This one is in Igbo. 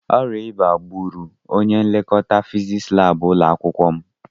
Ọrịa ịba gbúrù ọnye nlekọta fiziks lab ụlọakwụkwọ m.